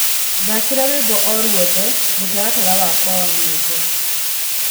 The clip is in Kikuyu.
thaakĩra rwĩmbo orwothe mũtaratara wakwa wa nyĩmbo